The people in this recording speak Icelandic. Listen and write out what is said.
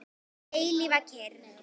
Eilífa kyrrð.